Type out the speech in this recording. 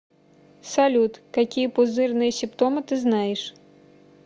салют какие пузырные симптомы ты знаешь